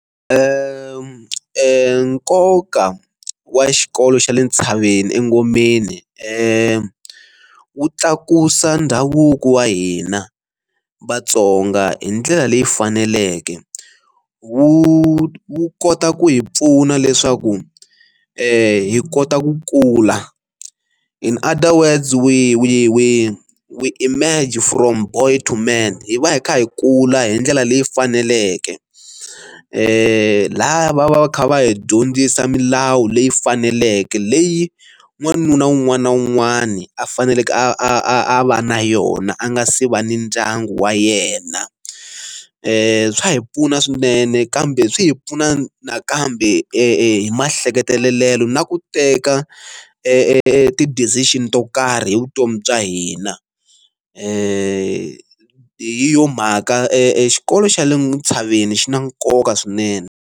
Nkoka wa xikolo xa le tshaveni engomeni wu tlakusa ndhavuko wa hina Vatsonga hi ndlela leyi faneleke. Wu wu kota ku hi pfuna leswaku hi kota ku kula in other words we we we we emerge from boy to men. Hi va hi kha hi kula hi ndlela leyi faneleke lava va va kha va hi dyondzisa milawu leyi faneleke leyi n'wanuna un'wana na un'wana a faneleke a va na yona a nga se va ni ndyangu wa yena. Swa hi pfuna swinene kambe swi hi pfuna nakambe hi maehleketelo na ku teka eti-decision to karhi hi vutomi bya hina hi yo mhaka exikolo xa le ntshaveni xi na nkoka swinene.